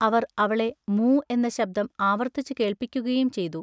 അവർ അവളെ മൂ എന്ന ശബ്ദം ആവർത്തിച്ചുകേൾപ്പിക്കുകയും ചെയ്തു.